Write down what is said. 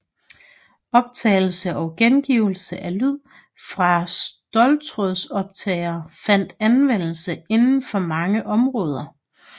Optagelse og gengivelse af lyd fra ståltrådoptagere fandt anvendelse inden for mange områder